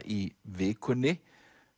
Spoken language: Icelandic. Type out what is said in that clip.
í vikunni